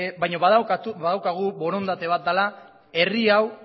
baino badaukagu borondate bat dela herri hau